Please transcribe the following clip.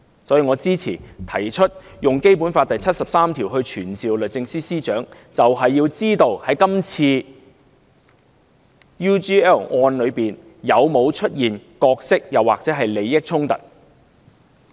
所以，我支持提出根據《基本法》第七十三條傳召律政司司長，便是要知道在這次關於 UGL 的案件中，有否出現角色或利益衝突。